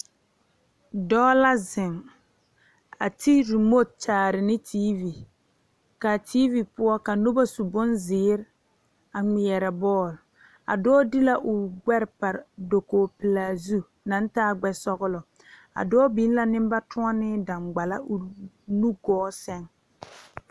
Dɔɔ la zeŋ a ti remote kyaare ne teevi kaa teevi poɔ ka nobɔ su bonzeere a ngmeɛrɛ bɔɔl a dɔɔ de la o gbɛre pare koge pelaa zu taa gbɛ sɔglɔ a dɔɔ biŋ la neŋ ba toɔnee daŋgballa o nu gɔɔ sɛŋ.